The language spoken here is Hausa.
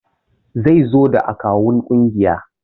Zaizo da akawun kungiyar